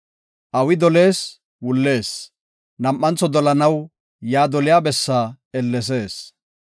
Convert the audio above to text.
Awi dolees wullees; nam7antho dolanaw yaa doliya bessaa ellesees.